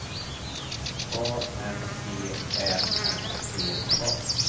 A N V Ä N D A